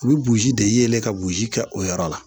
U bɛ burusi de yɛlɛ ka boji kɛ o yɔrɔ la